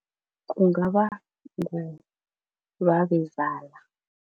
Kungaba ngubabezala.